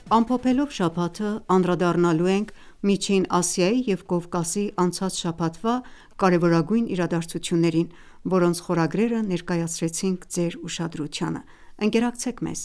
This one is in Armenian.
Ամփոփելով շաբաթը անդրադառնալու ենք Միջին Ասիայի և Կովկասի անցած շաբաթվա կարևորագույն իրադարձություններին, որոնց խորագրերը ներկայացրեցինք Ձեր ուշադրությանը։ Ընկերակցեք մեզ: